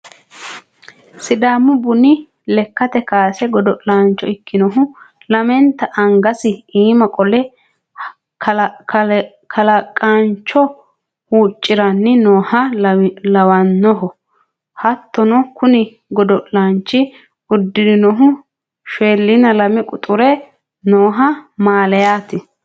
sidaamu buni lekkate kaase godo'laancho ikkinohu lamenta angasi iima qole kalaaqaancho huuciranni nooha lawannoho, hattono kuni godo'lanchi uddirinohu 42 quxure noo mallayaati.